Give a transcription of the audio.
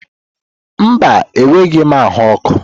Mba, enweghị m ahụ ọkụ.